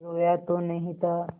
रोया तो नहीं था